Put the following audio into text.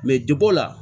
Mɛ deg o la